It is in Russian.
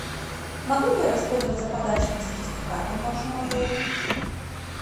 могу ли я воспользоваться подарочным сертификатом в вашем отеле